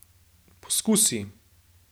Poskusi!